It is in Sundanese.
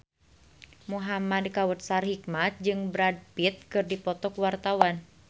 Muhamad Kautsar Hikmat jeung Brad Pitt keur dipoto ku wartawan